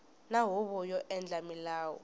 na huvo yo endla milawu